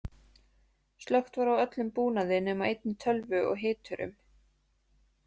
Slökkt var á öllum búnaði nema einni tölvu og hiturum.